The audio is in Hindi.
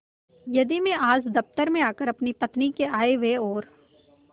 यदि मैं आज दफ्तर में आकर अपनी पत्नी के आयव्यय और